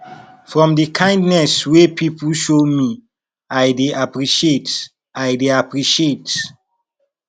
for di kindness wey pipo show me i dey appreciate i dey appreciate